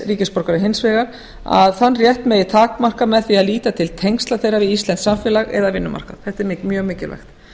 e e s ríkisborgarar hins vegar megi takmarka með því að líta til tengsla þeirra við íslenskt samfélag eða vinnumarkað þetta er mjög mikilvægt